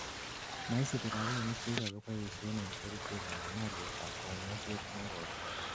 moisipi rapinik chekikeboishen en kerichek anan ko olyetab kanyoiset negoi